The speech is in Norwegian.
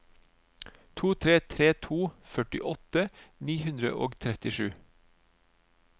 to tre tre to førtiåtte ni hundre og trettisju